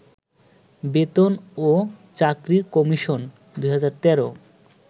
বেতন ও চাকরি কমিশন 2013